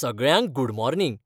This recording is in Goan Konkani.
सगळ्यांक गूड मॉर्निंग.